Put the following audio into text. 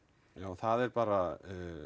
það er bara